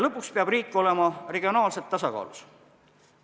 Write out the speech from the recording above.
Lõpuks peab riik olema regionaalselt tasakaalus.